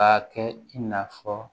K'a kɛ i n'a fɔ